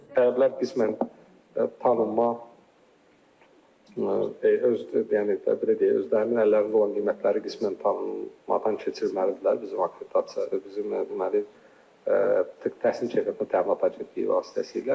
Tələblər qismən tanınma öz yəni belə deyək, özlərinin əllərində olan qiymətləri qismən tanınmadan keçirməlidirlər, bizim akreditasiya bizim deməli, təhsil keyfiyyəti təminat agentliyi vasitəsilə.